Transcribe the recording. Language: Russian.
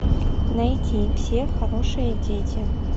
найти все хорошие дети